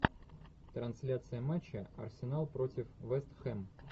трансляция матча арсенал против вест хэм